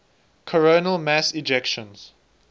coronal mass ejections